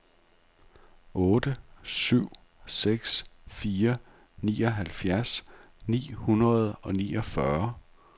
otte syv seks fire nioghalvfjerds ni hundrede og niogfyrre